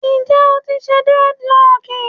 Njẹ o ti ṣe dreadlocks?